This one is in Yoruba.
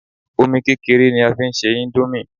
Omi kékeré ni a fi ń se índómì